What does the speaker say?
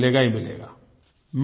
परिणाम मिलेगा ही मिलेगा